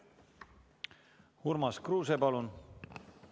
Urmas Kruuse, palun!